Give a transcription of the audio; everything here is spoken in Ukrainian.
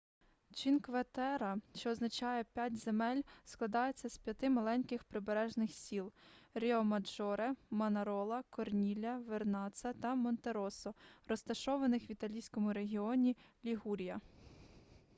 чинкве-терре що означає п'ять земель складається з п'яти маленьких прибережних сіл ріомаджоре манарола корнілья вернацца та монтероссо розташованих в італійському регіоні лігурія